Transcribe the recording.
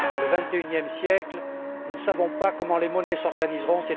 au vingt et unième siècle, nous ne savons pas comment les monnaies s'organiseront.